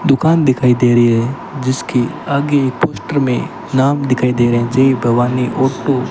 दुकान दिखाई दे रही है जिसके आगे एक पोस्टर में नाम दिखाई दे रहे हैं जय भवानी ऑटो ।